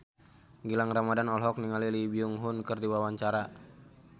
Gilang Ramadan olohok ningali Lee Byung Hun keur diwawancara